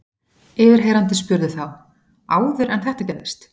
Yfirheyrandi spurði þá: Áður en þetta gerðist?